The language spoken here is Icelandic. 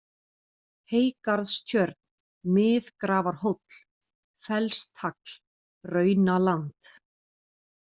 Heygarðstjörn, Mið-Grafarhóll, Fellstagl, Raunaland